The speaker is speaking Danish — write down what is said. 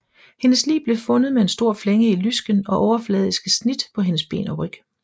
Hendes lig blev fundet med en stor flænge i lysken og overfladiske snit på hendes ben og ryg